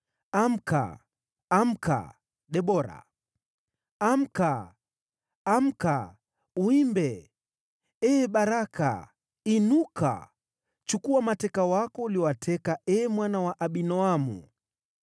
‘Amka, amka! Debora! Amka, amka, uimbe! Ee Baraka! Inuka, chukua mateka wako uliowateka, ee mwana wa Abinoamu.’